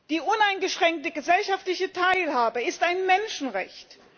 Die uneingeschränkte gesellschaftliche Teilhabe ist ein Menschenrecht.